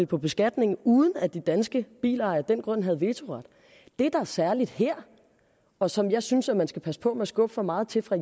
på beskatningen uden at de danske bilejere af den grund havde vetoret det der er særligt her og som jeg synes at man skal passe på med at skubbe for meget til fra